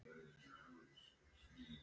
Í okkar augum ertu hetja.